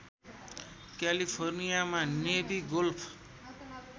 क्यालीफोर्नियामा navy golf